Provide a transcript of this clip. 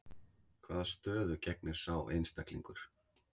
Hvaða stöðu gegnir sá einstaklingur?